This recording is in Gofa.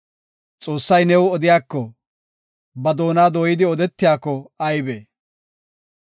Xoossay new odiyako, ba doona dooyidi odetiyako aybe!